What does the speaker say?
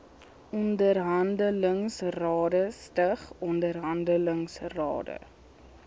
onderhandelingsrade stig onderhandelingsrade